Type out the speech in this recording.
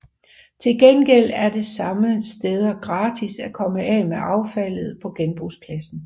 Til gengæld er det mange steder gratis at komme af med affaldet på genbrugspladsen